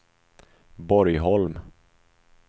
Borgholm